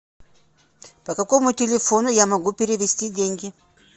по какому телефону я могу перевести деньги